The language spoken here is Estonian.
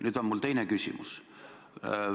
Nüüd on mul teine küsimus.